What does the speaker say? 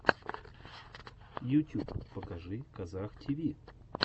ютюб покажи казах тиви